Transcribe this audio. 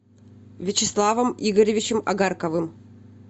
вячеславом игоревичем огарковым